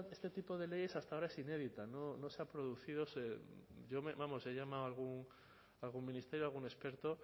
este tipo de leyes hasta ahora es inédita no se ha producido vamos he llamado a algún ministerio a algún experto